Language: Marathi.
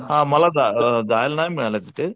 हा मला जा जायला नाही मिळालं तिथे.